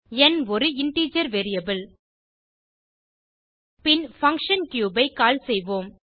ந் ஒரு integer variable பின் function cube ஐ கால் செய்வோம்